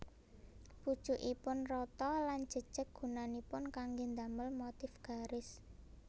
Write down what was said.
Pucukipun rata lan jejeg gunanipun kanggé damel motif garis